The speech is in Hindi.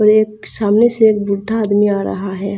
और एक सामने से एक बुड्ढा आदमी आ रहा है।